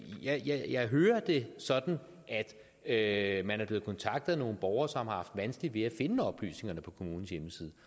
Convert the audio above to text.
jeg hører det sådan at man er blevet kontaktet af nogle borgere som har haft vanskeligt ved at finde oplysningerne på kommunens hjemmeside